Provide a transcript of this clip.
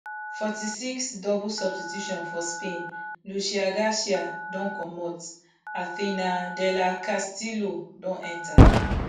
forty-six double substitution for spain lucia garcia don comot athenea del castillo don enta